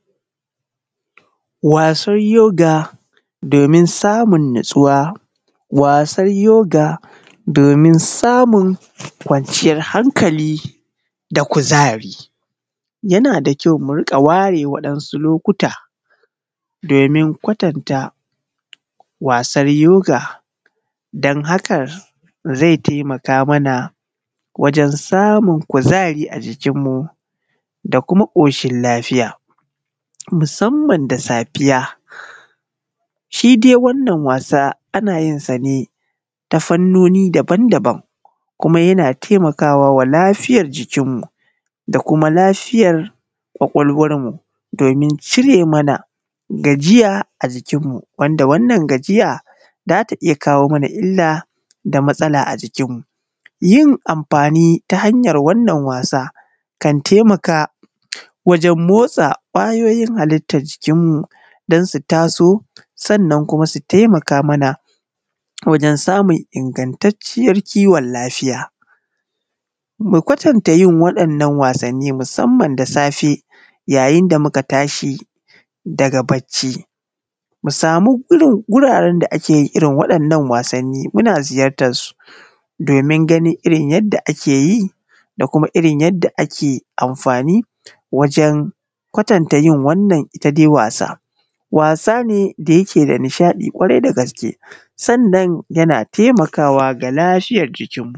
Wasar yoga domin samun natsuwa. Wasar yoga domin samun kwanciyar hankali da kuzari yana da kyau mu rika ware wasu lokuta domin kwatan ta wasan yoga dan hakan zai taimaka mana wajen samun kuzari a jikin mu da kuma koshin lafiya musamman da safiya. Shi dai wannan wasa anayin sane ta hanyoyi daban daban kuma yana taimakawa lafiyan jikin mu da kuma lafiyan kwakwalwan mu, domin cire mana gajiya a jikin mu wanda wannan gajiya zata iyya kawo mana illa da matsala a jikin mu. Yin amfani ta hanyar wannan wasa kan taimaka wajen motsa kwayoyin halittan dansu taso sannan kuma su taimaka wajen samun ingattacciyar kiwon lafiya. Mu kwatan ta yin waɗan nan wasanni musamman da safe ya yinda muka tashi daga bacci, mu samu guraren da akeyin irrin waɗannan wasanni domin muna ziyartar su domin ganin irrin yanda akeyi da kuma yadda ake amfani wajen kwatanta wannan dai wasa. Wasa ne da yake da nishaɗi kwarai da gaske sannan yana taimakawa ga lafiyan jikin mu.